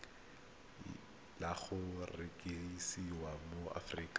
le go rekisiwa mo aforika